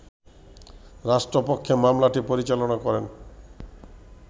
রাষ্ট্রপক্ষে মামলাটি পরিচালনা করেন